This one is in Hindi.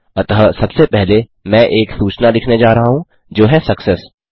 अतः सबसे पहले मैं एक सूचना लिखने जा रहा हूँ जो है सक्सेस